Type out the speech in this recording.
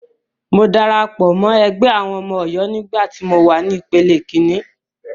Mo darapọ̀ mọ́ ẹgbẹ́ àwọn ọmọ Ọ̀yọ́ nígbà tí mọ wà ní ìpele kíní.